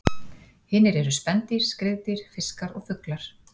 Hinir eru spendýr, skriðdýr, fiskar og fuglar.